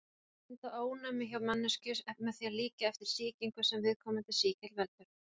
Bóluefni mynda ónæmi hjá manneskju með því að líkja eftir sýkingu sem viðkomandi sýkill veldur.